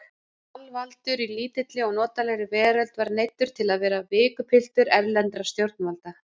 Alvaldur í lítilli og notalegri veröld var neyddur til að vera vikapiltur erlendra stjórnvalda.